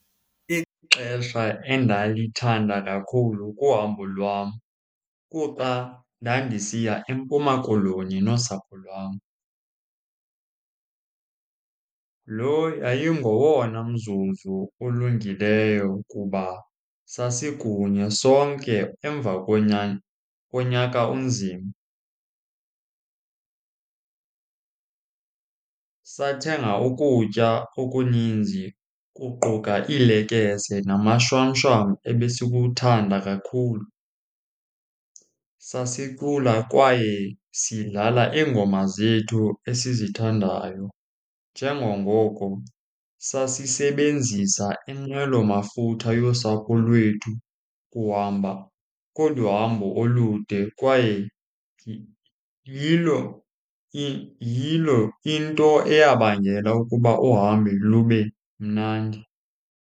Ixesha endalithanda kakhulu kuhambo lwam kuxa ndandisiya eMpuma Koloni nosapho lwam. Lo yayingowona mzuzu ulungileyo kuba sasikunye sonke emva konyaka onzima. Sathenga ukutya okuninzi, kuquka iilekese namashwamshwam ebesikuwuthanda kakhulu. Sasicula kwaye sidlala iingoma zethu esizithandayo njengangoko sasisebenzisa inqwelomafutha yosapho lwethu ukuhamba kolu hambo olude kwaye yilo , yilo into eyabangela ukuba uhambo lube mnandi.